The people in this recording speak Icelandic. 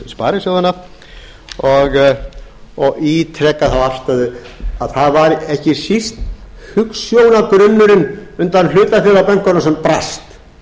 sparisjóðanna og ítreka þá afstöðu að það var ekki síst hugsjónagrunnurinn undan hlutafélagabönkunum sem brast